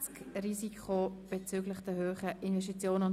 Wir kommen zur Abstimmung.